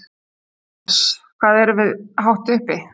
Jóhannes: Hvað erum við hátt uppi?